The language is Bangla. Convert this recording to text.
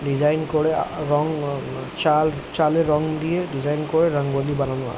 ডিজাইন করে আহ রং উমম চাল চালএ রং দিয়ে ডিজাইন করে রঙ্গলি বানানো হয় ।